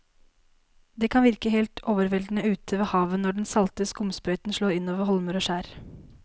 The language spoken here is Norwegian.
Det kan virke helt overveldende ute ved havet når den salte skumsprøyten slår innover holmer og skjær.